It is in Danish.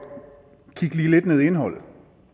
lige kigge lidt ned i indholdet